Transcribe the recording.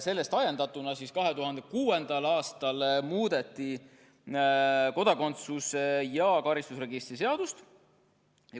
Sellest ajendatuna muudeti 2006. aastal kodakondsuse ja karistusregistri seadust.